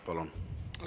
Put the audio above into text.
Palun!